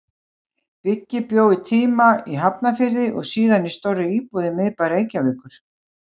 Biggi bjó um tíma í Hafnarfirði og síðar í stórri íbúð í miðbæ Reykjavíkur.